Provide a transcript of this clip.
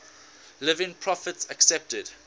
living prophets accepted